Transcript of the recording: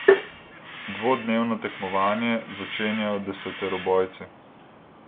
Dvodnevno tekmovanje začenjajo deseterobojci.